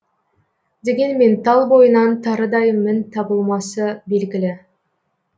дегенмен тал бойынан тарыдай мін табылмасы белгілі